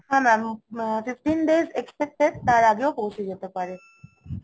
হ্যা Mam fifteen days expected তার আগেও পৌঁছে যেতে পারে